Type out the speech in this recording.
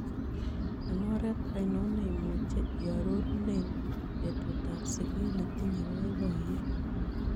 Eng' oret ainon neimuche iarorunen betutab siget netinye boiboyet